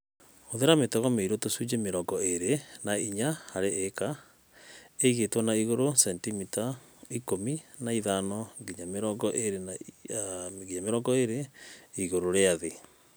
Hũthĩra mĩtego mĩirũ - tũcunjĩ mĩrongo ĩĩrĩ na inya harĩ ĩka, ĩigĩtwo na igũrũ sentimita ikũmi na ithano nginya mirongo ĩĩrĩ igũrũ rĩa thĩ.